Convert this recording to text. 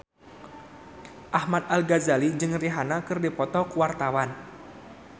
Ahmad Al-Ghazali jeung Rihanna keur dipoto ku wartawan